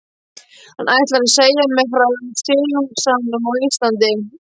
Hann ætlar að segja mér frá silungsánum á Íslandi.